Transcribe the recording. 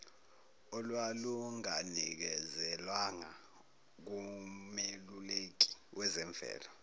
olwalunganikezelwanga kumeluleki wezemvelo